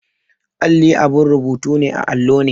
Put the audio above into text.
Alli abin rubutu ne a allo ne.